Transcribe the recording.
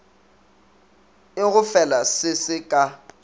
e gofela se se ka